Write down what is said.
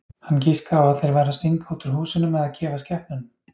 Hann giskaði á að þeir væru að stinga út úr húsunum eða gefa skepnunum.